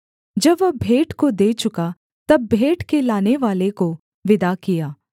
जब वह भेंट को दे चुका तब भेंट के लानेवाले को विदा किया